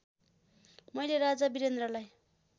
मैले राजा वीरेन्द्रलाई